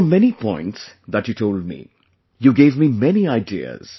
There were many points that you told me; you gave me many ideas